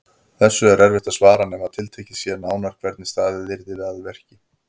Þessu er erfitt að svara nema tiltekið sé nánar hvernig staðið yrði að verki.